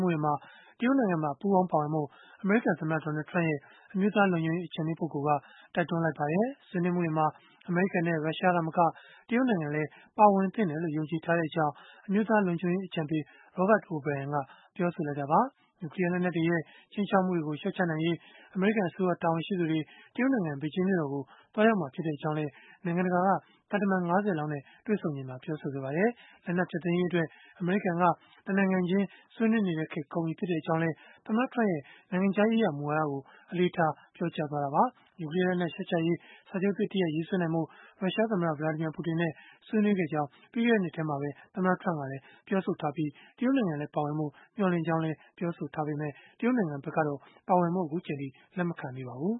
မှုတွေမှာ တရုတ်နိုင်ငံပါ ပူးပေါင်းပါဝင်ဖို့ အမေရိကန်သမ္မတ Donald Trump ရဲ့ အမျိုးသားလုံခြုံရေး အကြံပေးပုဂ္ဂိုလ်က တိုက်တွန်းလိုက်ပါတယ်။ ဆွေးနွေးမှုတွေမှာ အမေရိကန်နဲ့ ရုရှားသာမက တရုတ်နိုင်ငံလည်း ပါဝင်သင့်တယ်လို့ ယုံကြည်ထားကြောင်း အမျိုးသားလုံခြုံရေးအကြံပေး Robert O’Brien ကပြောဆိုလိုက်တာပါ။ နျူကလီးယား လက်နက်တွေရဲ့ ခြိမ်းခြောက်မှုတွေ လျှော့ချနိုင်ရေး အမေရိကန်အစိုးရ တာဝန်ရှိသူတွေ တရုတ်နိုင်ငံ ဘေဂျင်းမြို့တော်ကို သွားရောက်မှာ ဖြစ်ကြောင်းလည်း နိုင်ငံတကာ သံတမန် ၅၀ လောက်နဲ့ တွေ့ဆုံရာမှာ ပြောဆိုခဲ့ပါတယ်။ လက်နက်ဖျက်သိမ်းရေးအတွက် အမေရိကန်က တနိုင်ငံချင်း ဆွေးနွေးနေတဲ့ခေတ် ကုန်ပြီဖြစ်ကြောင်းလည်း သမ္မတ Trump ရဲ့ နိုင်ငံခြားရေးရာ မူဝါဒကို အလေးထား ပြောကြားခဲ့တာပါ။ နျူကလီးယားလက်နက် လျှော့ချရေး စာချုပ်သစ်တရပ် ရေးဆွဲနိုင်ဖို့ ရုရှားသမ္မတ Vladimir Putin နဲ့ ဆွေးနွေးခဲ့ကြောင်း ပြီးခဲ့တဲ့ နှစ်ထဲမှာပဲ သမ္မတ Trump ကပြောဆိုထားပြီး၊ တရုတ်နိုင်ငံလည်း ပါဝင်ဖို့ မျှော်လင့်ကြောင်း ပြောဆိုခဲ့ပေမဲ့ တရုတ်နိုင်ငံဘက်ကတော့ ပါဝင်ဖို့ လက်မခံသေးပါဘူး